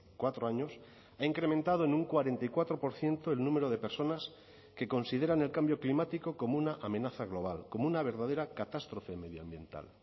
cuatro años ha incrementado en un cuarenta y cuatro por ciento el número de personas que consideran el cambio climático como una amenaza global como una verdadera catástrofe medioambiental